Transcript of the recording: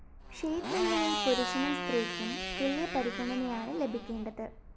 ക്ഷേത്രങ്ങളില്‍ പുരുഷനും സ്ത്രീയ്ക്കും തുല്യ പരിഗണനയാണ് ലഭിക്കേണ്ടത്